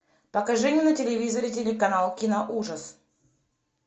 покажи мне на телевизоре телеканал киноужас